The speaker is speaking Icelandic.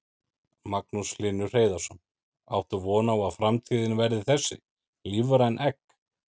Magnús Hlynur Hreiðarsson: Áttu von á að framtíðin verði þessi, lífræn egg?